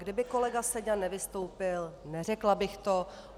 Kdyby kolega Seďa nevystoupil, neřekla bych to.